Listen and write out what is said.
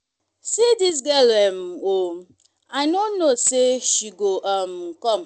see dis girl um oo i no know say she go um come